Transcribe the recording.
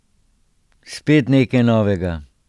Spet nekaj novega.